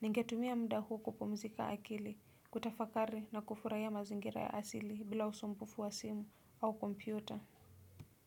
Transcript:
Ningetumia muda huu kupomzika akili, kutafakari na kufurahia mazingira ya asili bila usumbufu wa simu au kompyuta.